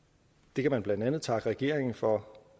det kan man blandt andet takke regeringen for